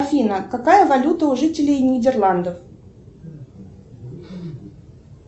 афина какая валюта у жителей нидерландов